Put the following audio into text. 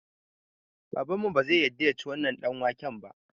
Babanmu bazai yadda yaci wannan ɗanwaken ba